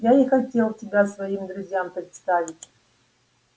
я и хотел тебя своим друзьям представить